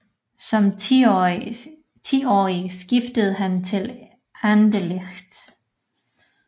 Som tiårig skiftede han til Anderlecht